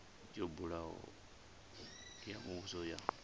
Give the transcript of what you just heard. yo buliwaho ya muvhuso ya